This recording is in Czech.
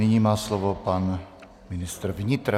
Nyní má slovo pan ministr vnitra.